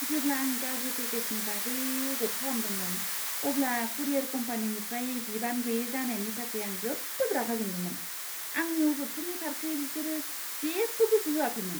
जेब्ला आं गाज्रि पेकेजनि बागै अजद खालामदोंमोन अब्ला कुरियर कम्पानिनिफ्राय बिबान गैयै जानायनि थाखाय आं जोबोद रागा जोंदोंमोन। आंनि अजदफोरनि फारसे बिसोरो जेबो गोसो होआखैमोन।